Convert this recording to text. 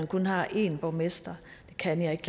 kun har en borgmester det kan jeg ikke